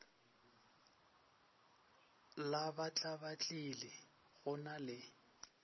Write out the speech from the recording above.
la batlabatlile go na le